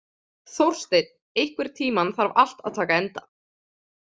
Þórsteinn, einhvern tímann þarf allt að taka enda.